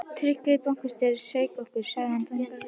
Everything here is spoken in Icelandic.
Tryggvi bankastjóri sveik okkur, sagði hann þungur á brún.